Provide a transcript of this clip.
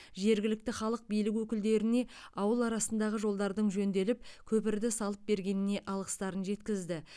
жергілікті халық билік өкілдеріне ауыл арасындағы жолдардың жөнделіп көпірді салып бергеніне алғыстарын жеткізді